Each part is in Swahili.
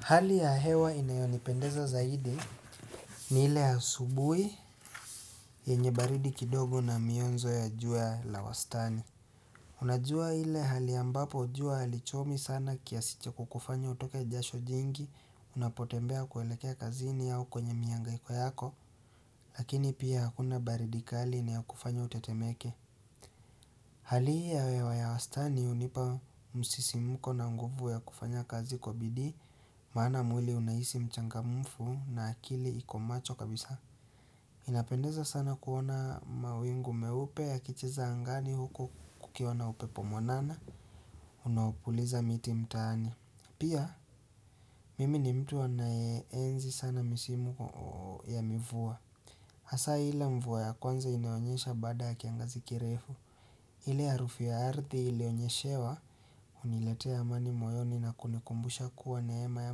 Hali ya hewa inayonipendeza zaidi ni ile ya asubui yenye baridi kidogo na mionzo ya jua la wastani. Unajua ile hali ambapo jua halichomi sana kiasi cha kukufanya utoke jasho jingi unapotembea kuelekea kazini au kwenye miangaiko yako lakini pia hakuna baridi kali inayokufanya utetemeke. Hali hii ya hewa ya wastani hunipa msisimuko na nguvu ya kufanya kazi kwa bidii maana mwili unahisi mchangamfu na akili ikomacho kabisa inapendeza sana kuona mawingu meupe yakicheza angani huko kukiwana upepo mwanana Unaopuliza miti mtani Pia mimi ni mtu anae enzi sana misimu ya mivua hasa ile mvua ya kwanza inayonyesha baada ya kiangazi kirefu ile ya harufu ya ardhi ilionyeshewa huniletea amani moyoni na kunikumbusha kuwa neema ya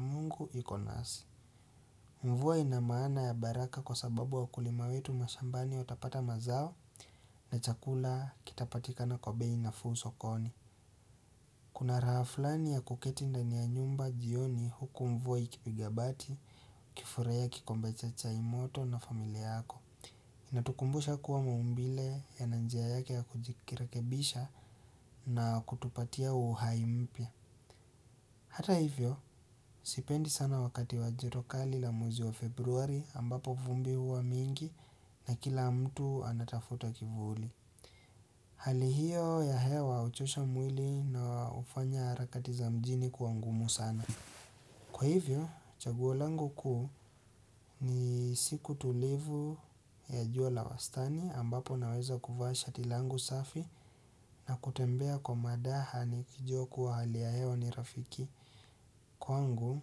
mungu ikonasi. Mvua inamaana ya baraka kwa sababu wakulima wetu mashambani watapata mazao na chakula kitapatika na bei nafuu sokoni. Kuna raha fulani ya kuketi ndani ya nyumba jioni huku mvua ikibigabati ukifurahia kikombe cha chai moto na familia yako. Inatukumbusha kuwa maumbile yana njia yake ya kujikirekebisha na kutupatia uhai mpya Hata hivyo, sipendi sana wakati wajua kali la mwezi wa februari ambapo vumbi huwa mingi na kila mtu anatafuta kivuli Hali hiyo ya hea wa uchosha mwili na ufanya harakati za mjini kua ngumu sana Kwa hivyo, chagu langu kuu ni siku tulivu ya jua la wastani ambapo naweza kuvaa shati langu safi na kutembea kwa madaha nikijua kuwa hali ya hewa ni rafiki kwangu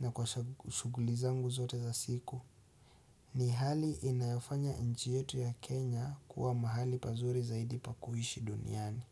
na kwa shuguli zangu zote za siku. Ni hali inayofanya nchi yetu ya Kenya kuwa mahali pazuri zaidi pa kuhishi duniani.